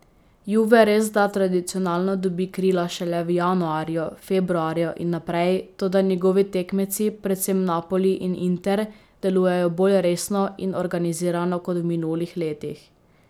Juve resda tradicionalno dobi krila šele v januarju, februarju in naprej, toda njegovi tekmeci, predvsem Napoli in Inter, delujejo bolj resno in organizirano kot v minulih letih.